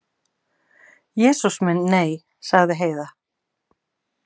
Jesús minn, nei, sagði Heiða.